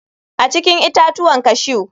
A cikin itatuwan cashew.